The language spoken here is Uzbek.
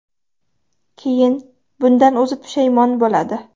Keyin bundan o‘zi pushaymon bo‘ladi.